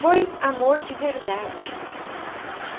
Foi amor de verdade. Uhum.